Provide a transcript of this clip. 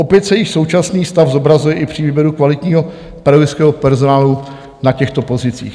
Opět se již současný stav zobrazuje i při výběru kvalitního pedagogického personálu na těchto pozicích.